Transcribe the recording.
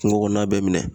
Kungo kɔnɔna bɛɛ minɛ